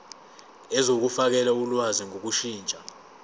zokufakela ulwazi ngokushintsha